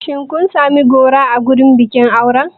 Shin kun sami goro a wurin bikin auren?